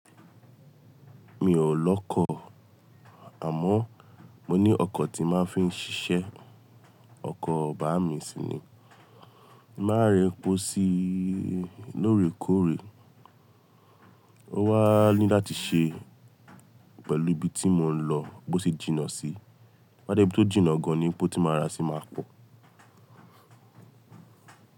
Mi ò lọ́kọ̀, àmọ́ mo ní ọkọ̀ tí màá fi ń ṣiṣẹ́, ọkọ bàámi sì ni. Màá rẹ́ ẹ po sí lóòrèkóòrè, ó wà á ní láti ṣe pẹ̀lú ibi tí mò ń lọ bó ṣe jìnnà sí. Bá dẹ ibi tó jìnnà gan ní epo ti máa ra sì máa pọ̀.